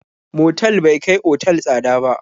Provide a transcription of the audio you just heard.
Motal bai kai otal tsada ba.